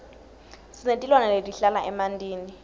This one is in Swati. sinetilwane letihlala emantini